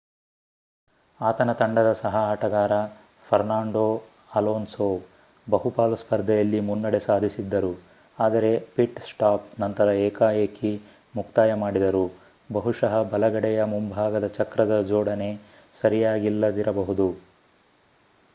ಆತನ ತಂಡದ ಸಹ ಆಟಗಾರ ಫರ್ನಾಂಡೋ ಅಲೋನ್ಸೋ ಬಹುಪಾಲು ಸ್ಪರ್ಧೆಯಲ್ಲಿ ಮುನ್ನಡೆ ಸಾಧಿಸಿದ್ದರು ಆದರೆ ಪಿಟ್-ಸ್ಟಾಪ್ ನಂತರ ಏಕಾಎಕಿ ಮುಕ್ತಾಯ ಮಾಡಿದರು ಬಹುಶಃ ಬಲಗಡೆಯ ಮುಂಭಾಗದ ಚಕ್ರದ ಜೋಡಣೆ ಸರಿಯಾಗಿಲ್ಲದಿರಬಹುದು